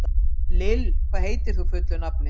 Lill, hvað heitir þú fullu nafni?